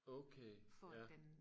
okay ja